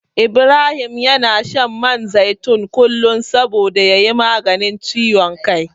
Ibrahim yana shan man zaitun kullum saboda ya yi maganin ciwon kai.